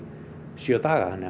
sjö daga